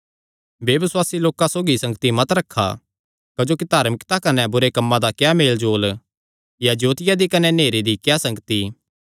बेबसुआसी लोकां सौगी संगति मत रखा क्जोकि धार्मिकता कने बुरे कम्मां दा क्या मेल जोल या जोतिया दी कने नेहरे दी क्या संगति